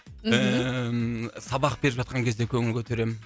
ііі сабақ беріп жатқан кезде көңіл көтеремін